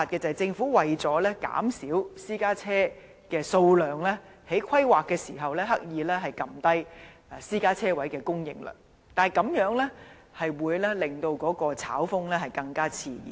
政府為了減少私家車的數量，在規劃時刻意壓低私家車車位的供應量，但這樣只會令炒風更熾熱。